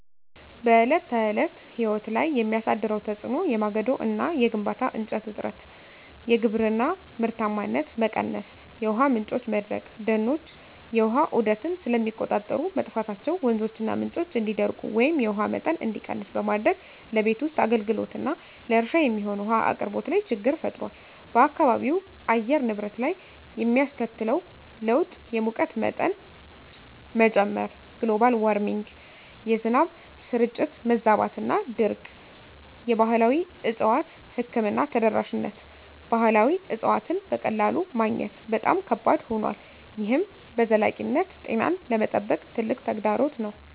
በዕለት ተዕለት ሕይወት ላይ የሚያሳድረው ተጽዕኖ የማገዶ እና የግንባታ እንጨት እጥረት፣ የግብርና ምርታማነት መቀነስ፣ የውሃ ምንጮች መድረቅ፦ ደኖች የውሃ ዑደትን ስለሚቆጣጠሩ፣ መጥፋታቸው ወንዞችና ምንጮች እንዲደርቁ ወይም የውሃ መጠን እንዲቀንስ በማድረግ ለቤት ውስጥ አገልግሎትና ለእርሻ የሚሆን ውሃ አቅርቦት ላይ ችግር ፈጥሯል። በአካባቢው አየር ንብረት ላይ የሚያስከትለው ለውጥ _የሙቀት መጠን መጨመር (Global Warming) -የዝናብ ስርጭት መዛባትና ድርቅ የባህላዊ እፅዋት ሕክምና ተደራሽነት ባህላዊ እፅዋትን በቀላሉ ማግኘት በጣም ከባድ ሆኗል፣ ይህም በዘላቂነት ጤናን ለመጠበቅ ትልቅ ተግዳሮት ነው።